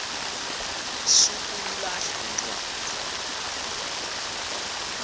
sukuyilahla le ncwadi